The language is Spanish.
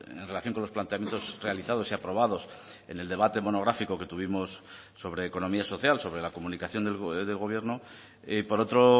en relación con los planteamientos realizados y aprobados en el debate monográfico que tuvimos sobre economía social sobre la comunicación del gobierno y por otro